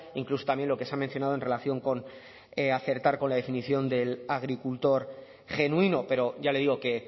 incluso también lo que se ha mencionado en relación con acertar con la definición del agricultor genuino pero ya le digo que